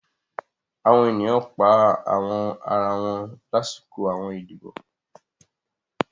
Àwọn ènìyàn pa àwọn ara wọn láṣọkọ àwọn ìdíbò